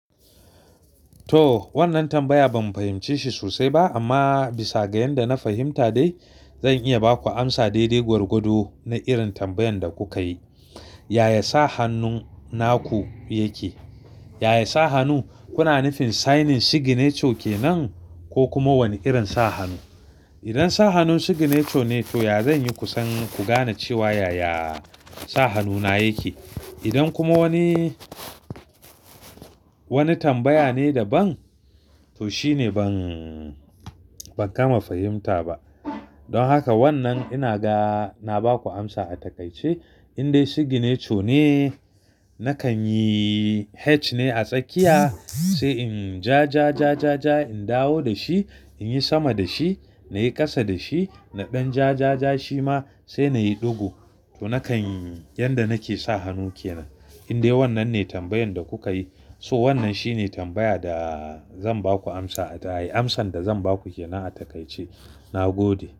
To wannan tambaya ban fahimci shi sosai ba amma bisa ga yanda na fahimta dai zan iya ba ku amsa daidai gwargwado na irin tambayan da kuka yi. Yaya sa hannun naku yake? Yaya sa hannu, kuna nufin signing signature kenan ko kuma wani irin sa hannu? Idan sa hannun signature ne to ya zan yi kusan ku gane cewa yaya sa hannuna yake. Idan kuma wani, wani tambaya ne daban to shine ban, ban gama fahimta ba. Don haka wannan ina ga na ba ku amsa a takaice. In dai signature ne nakan yi H ne a tsakiya sai in ja, ja, ja, ja, ja in dawo da shi, in yi sama da shi, na yi ƙasa da shi, na ɗan ja, ja, ja shi ma sai na yi ɗigo. To nakan yi yanda nake sa hannu kenan. In dai wannan ne tambayan da kuka yi so wannan shine tambaya da zan ba ku amsa a daye. Amsan da zan ba ku ke nan a takaice. Na gode.